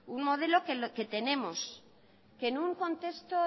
un modelo que tenemos que en un contexto